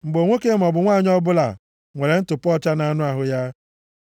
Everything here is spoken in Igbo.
“Mgbe nwoke maọbụ nwanyị ọbụla nwere ntụpọ ọcha nʼanụ ahụ ya,